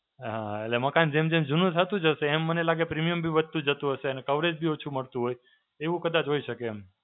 હાં, એટલે મકાન જેમ જેમ જૂનું થતું જશે એમ મને લાગે premium બી વધતું જતું હશે અને coverage બી ઓછું મળતું હોય. એવું કદાચ હોય શકે એમ.